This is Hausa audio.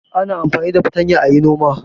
Ana amfani da fatanya a yi noma.